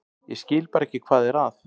Ég skil bara ekki hvað er að.